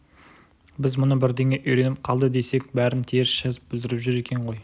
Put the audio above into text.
біз мұны бірдеңе үйреніп қалды десек бәрін теріс жазып бүлдіріп жүр екен ғой